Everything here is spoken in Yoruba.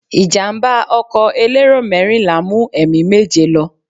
Ìjàmbá ọkọ̀ elérò mẹ́rìnlá mú ẹ̀mí méje lọ.